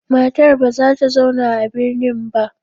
Matar ba za ta zauna a birnin ba.